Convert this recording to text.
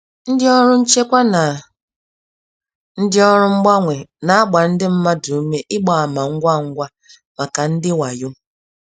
Ndị ọrụ nchekwa na ndị ọrụ mgbanwe na-agba ndị mmadụ ume ịgba ama ngwa ngwa maka ndị wayo.